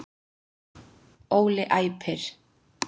Óli æpir.